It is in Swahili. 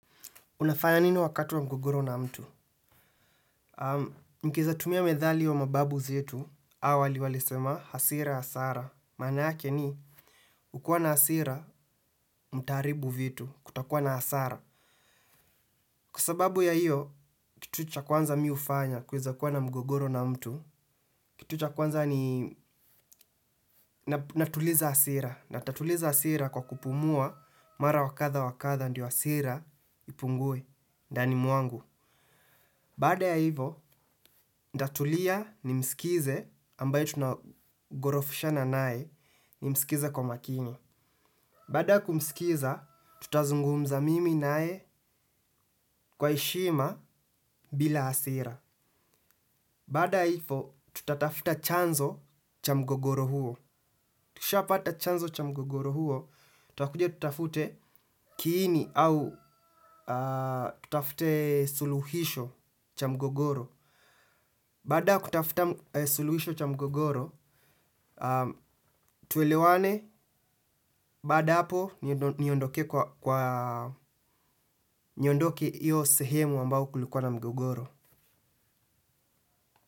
Unafanya nina wakati wa mgogoro na mtu? Mkiweza tumia methali wa mababu zetu awali walisema hasira hasara. Maana yake ni, kukiwa na hasira mtaharibu vitu, kutakua na hasara. Kwa sababu ya hiyo, kitu cha kwanza mimi hufanya kweza kuwa na mgogoro na mtu, kitu cha kwanza ni natuliza hasira. Na nitatuliza hasira kwa kupumua mara wakadha wakadha ndio hasira ipungue ndani mwangu. Baada ya hivo, nitatulia nimsikize ambaye tunagorofishana naye nimsikize kwa makini. Baada ya kumskiza, tutazungumza mimi naye kwa heshima bila hasira. Baada ya hivo, tutatafuta chanzo cha mgogoro huo. Tushaa pata chanzo cha mgogoro huo, tutakuja tutafute kiini au tutafute suluhisho cha mgogoro. Baada ya kutafuta suluhisho cha mgogoro, tuelewane baada ya hapo niondokee kwa niondoke iyo sehemu ambao kulikuwa na mgogoro.